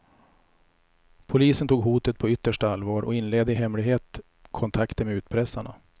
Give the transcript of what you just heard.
Polisen tog hotet på yttersta allvar och inledde i hemlighet kontakter med utpressarna.